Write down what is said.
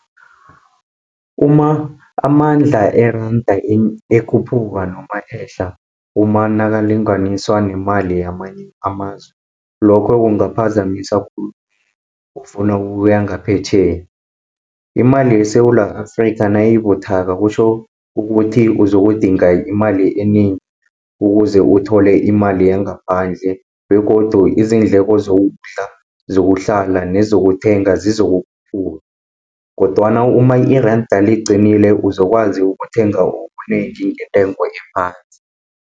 Uma amandla eranda ekhuphuka noma ehla, uma nakalinganiswa nemali yamanye amazwe. Lokho kungaphazamisa khulu ofuna ukuya ngaphetjheya. Imali yeSewula Afrika, nayibuthaka kutjho ukuthi uzokudinga imali enengi, ukuze uthole imali yangaphandle, begodu izindleko zokudla, zokuhlala nezokuthenga zizokukhuphuka, kodwana uma iranda liQinile uzokwazi ukuthenga okunengi ngentengo ephasi.